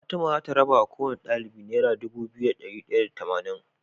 Fatima zata raba wa kowane ɗalibi naira Dubu biyu da dari daya da tamanin